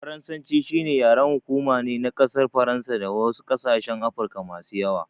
Faransanci shine yaren hukuma ne na ƙasar faransa da wasu ƙasashen Afirka masu yawa.